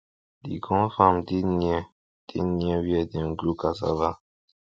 the corn farm dey near dey near where dem grow cassava